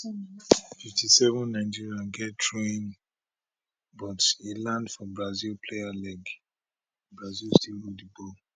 57 nigeria get throwin but e land for brazil player leg brazil still hold di ball